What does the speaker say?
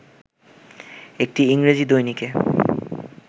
একটি ইংরেজি দৈনিকে